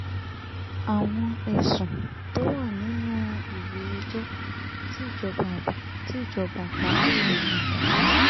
àwọn ẹ̀sùn tó wà nínú ìwé ẹjọ́ tí ìjọba àpapọ̀ pe natasha